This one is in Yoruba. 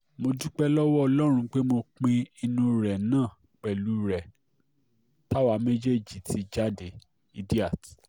mo dúpẹ́ lọ́wọ́ ọlọ́run pé mo pín inú kan náà pẹ̀lú rẹ̀ táwa méjèèjì ti jáde idiat